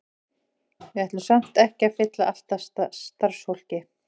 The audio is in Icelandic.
Við ætlum samt ekki að fylla allt af starfsfólki.